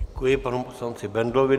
Děkuji panu poslanci Bendlovi.